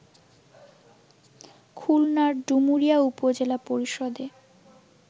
খুলনার ডুমুরিয়া উপজেলা পরিষদে